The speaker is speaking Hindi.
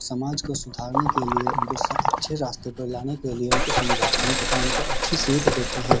समाज को सुधारने के लिए उनके अच्छे रास्ते पर लाने के लिए उनके समझाते हैं तथा उनको अच्छी सीख देते हैं।